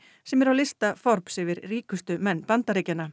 sem er á lista Forbes yfir ríkustu menn Bandaríkjanna